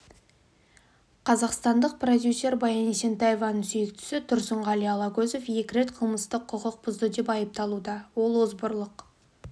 қазақстандық продюсер баян есентаеваның сүйіктісі тұрсынғали алагөзов екі рет қылмыстық құқық бұзды деп айыпталуда ол озбырлық